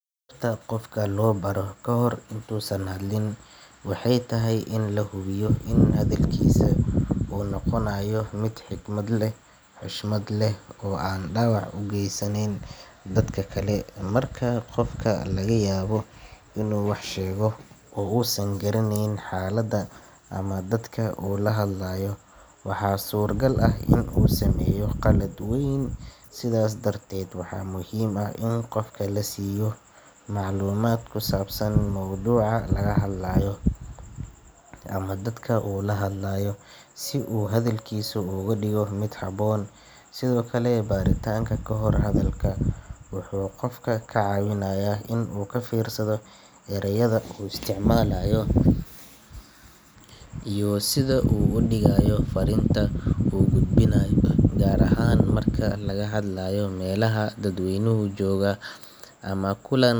sababta qofka loo baro kahor intuusan hadlin waxay tahay in la hubiyo in hadalkiisa uu noqonayo mid xikmad leh xushmad leh oo aan dhaawac u geysanayn dadka kale marka qofka laga yaabo inuu wax sheego oo uusan garanayn xaaladda ama dadka uu la hadlayo waxaa suuragal ah inuu sameeyo qalad weyn sidaas darteed waxaa muhiim ah in qofka la siiyo macluumaad ku saabsan mawduuca laga hadlayo ama dadka uu la hadlayo si uu hadalkiisa uga dhigo mid habboon sidoo kale baritaanka kahor hadalka wuxuu qofka ka caawinayaa in uu ka fiirsado erayada uu isticmaalayo iyo sida uu u dhigayo fariinta uu gudbinayo gaar ahaan marka laga hadlayo meelaha dadweynuhu joogo ama kulan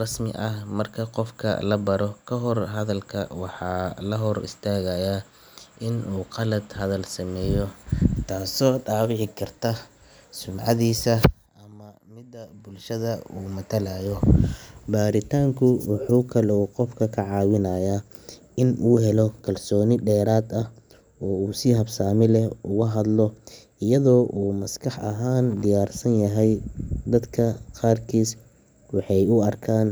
rasmi ah marka qofka la baro kahor hadalka waxaa la hor istaagayaa in uu khalad hadal sameeyo taasoo dhaawici karta sumcadiisa ama midda bulshada uu matalayo baritaanku wuxuu kaloo qofka ka caawiyaa in uu helo kalsooni dheeraad ah oo uu si habsami leh ugu hadlo iyadoo uu maskax ahaan diyaarsan yahay dadka qaarkiis waxay u arkaan hadalka kahor.